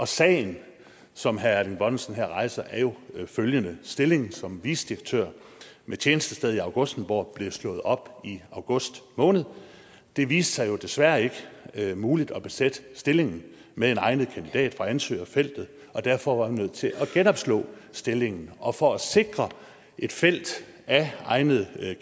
sagen som herre erling bonnesen her rejser er jo følgende stillingen som vicedirektør med tjenestested i augustenborg blev slået op i august måned det viste sig jo desværre ikke ikke muligt at besætte stillingen med en egnet kandidat fra ansøgerfeltet derfor var man nødt til at genopslå stillingen og for at sikre et felt af egnede